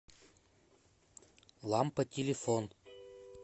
лампа телефон